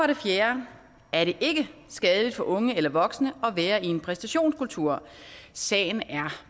det fjerde er det ikke skadeligt for unge eller voksne at være i en præstationskultur sagen er